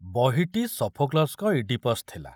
ବହିଟି ସଫୋକ୍ଲସ୍‌ଙ୍କ ଇଡ଼ିପସ୍‌ ଥିଲା।